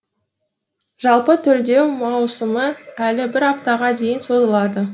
жалпы төлдеу маусымы әлі бір аптаға дейін созылады